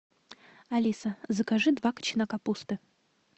алиса закажи два кочана капусты